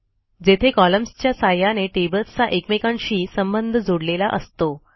जेथे कॉलम्सच्या सहाय्याने टेबल्सचा एकमेकांशी संबंध जोडलेला असतो